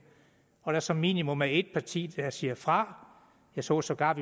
og at der som minimum er et parti der siger fra jeg så sågar